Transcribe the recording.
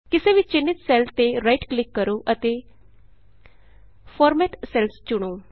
ਕਿਸੇ ਵੀ ਚਿੰਨ੍ਹਿਤ ਸੈੱਲ ਤੇ ਰਾਈਟ ਕਲਿਕ ਕਰੋ ਅਤੇ ਫਾਰਮੈਟ ਸੈਲਜ਼ ਚੁਣੋ